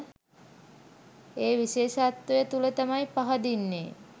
ඒ විශේෂත්වය තුළ තමයි පහදින්නේ